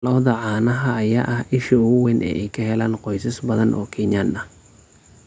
Lo'da caanaha ayaa ah isha ugu weyn ee ay ka helaan qoysas badan oo Kenyan ah.